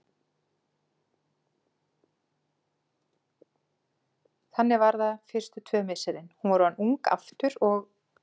Þannig var það fyrstu tvö misserin: hún var orðin ung aftur, og